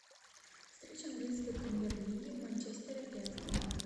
встреча английской премьер лиги манчестера и астон виллы